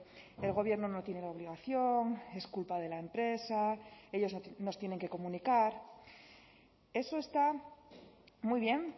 el gobierno no tiene la obligación es culpa de la empresa ellos nos tienen que comunicar eso está muy bien